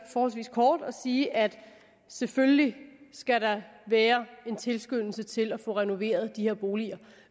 forholdsvis kort og sige at selvfølgelig skal der være en tilskyndelse til at få renoveret de her boliger